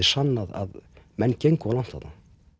sannað að menn gengu of langt þarna